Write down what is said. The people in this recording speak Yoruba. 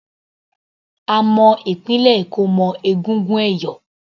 A mọ ìpínlẹ̀ Èkó mọ́ egungun ẹ̀yọ̀